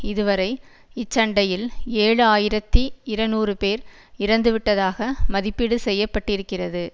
இதுவரை இச்சண்டையில் ஏழு ஆயிரத்தி இருநூறு பேர் இறந்துவிட்டதாக மதிப்பீடு செய்ய பட்டிருக்கிறது